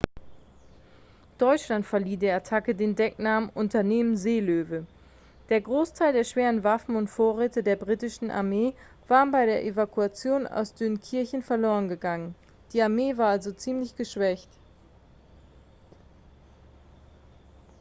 deutschland verlieh der attacke den decknamen unternehmen seelöwe der großteil der schweren waffen und vorräte der britischen armee waren bei der evakuation aus dünkirchen verlorengegangen die armee war also ziemich geschwächt